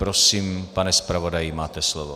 Prosím, pane zpravodaji, máte slovo.